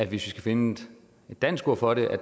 vi skal finde en dansk ord for det